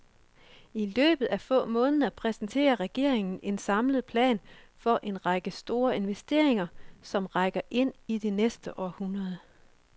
I løbet af få måneder præsenterer regeringen en samlet plan for en række store investeringer, som rækker ind i det næste århundrede.